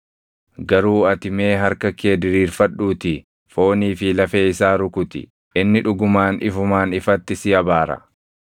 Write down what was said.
Garuu ati mee harka kee diriirfadhuutii foonii fi lafee isaa rukuti; inni dhugumaan ifumaan ifatti si abaara.”